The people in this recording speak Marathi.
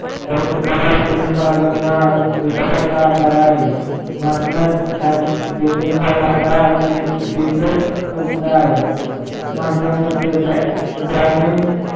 परंतु कहर अर्थाने विकासाचा आधार आहे. महात्मा गांधीजींचा आधी माझ्यामते ग्रामीण